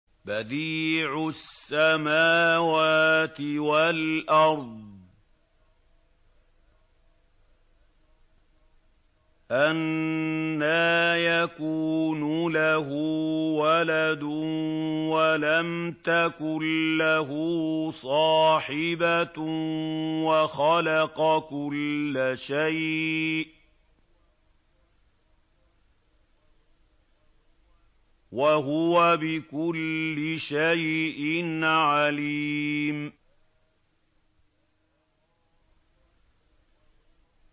بَدِيعُ السَّمَاوَاتِ وَالْأَرْضِ ۖ أَنَّىٰ يَكُونُ لَهُ وَلَدٌ وَلَمْ تَكُن لَّهُ صَاحِبَةٌ ۖ وَخَلَقَ كُلَّ شَيْءٍ ۖ وَهُوَ بِكُلِّ شَيْءٍ عَلِيمٌ